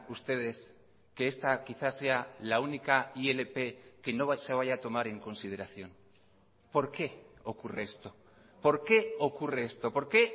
ustedes que esta quizá sea la única ilp que no se vaya a tomar en consideración por qué ocurre esto por qué ocurre esto por qué